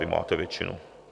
Vy máte většinu.